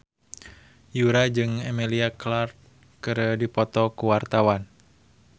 Yura jeung Emilia Clarke keur dipoto ku wartawan